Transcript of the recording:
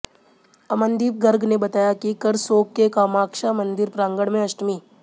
अमनदीप गर्ग ने बताया कि करसोग के कामाक्षा मंदिर प्रांगण में अष्टमी